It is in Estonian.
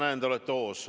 Ma näen, te olete hoos.